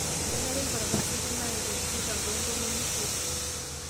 Kenare enkuatata osarge naa iip oo tikitam too ntomoni isiet.